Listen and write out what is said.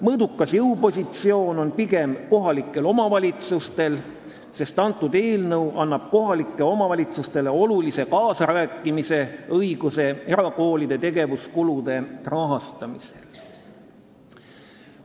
Mõõdukas jõupositsioon on pigem kohalikel omavalitsustel, sest see eelnõu annab kohalikele omavalitsustele olulise kaasarääkimisõiguse erakoolide tegevuskulude rahastamisel.